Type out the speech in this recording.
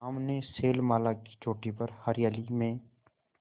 सामने शैलमाला की चोटी पर हरियाली में